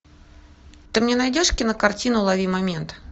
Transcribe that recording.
ты мне найдешь кинокартину лови момент